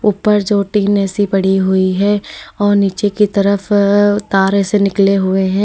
ऊपर जो टिन सी पड़ी हुई है और नीचे की तरफ अअ तार ऐसे निकले हुए हैं।